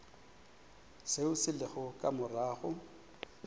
seo se lego ka morago